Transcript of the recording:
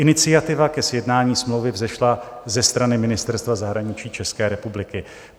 Iniciativa ke sjednání smlouvy vzešla ze strany Ministerstva zahraničí České republiky.